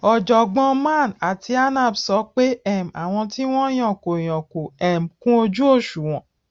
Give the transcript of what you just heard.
ọjọgbọn man àti anap sọ pé um àwọn tí wọn yàn kò yàn kò um kúnojúòṣùwọn